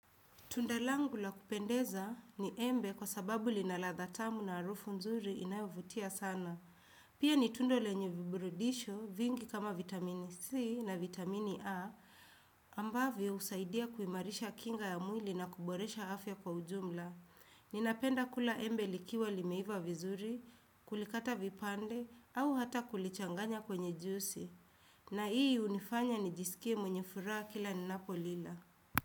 Tunda langu la kupendeza ni embe kwa sababu lina ladha tamu na harufu nzuri inayovutia sana. Pia ni tunda lenye viburudisho vingi kama vitamini C na vitamini A ambavyo husaidia kuimarisha kinga ya mwili na kuboresha afya kwa ujumla. Ninapenda kula embe likiwa limeiva vizuri, kulikata vipande au hata kulichanganya kwenye juisi. Na hii hunifanya nijisikie mwenye furaha kila ninapo lila.